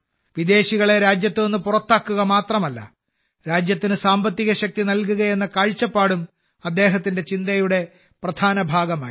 വിദേശികളെ രാജ്യത്ത് നിന്ന് പുറത്താക്കുക മാത്രമല്ല രാജ്യത്തിന് സാമ്പത്തിക ശക്തി നൽകുകയെന്ന കാഴ്ചപ്പാടും അദ്ദേഹത്തിന്റെ ചിന്തയുടെ പ്രധാന ഭാഗമായിരുന്നു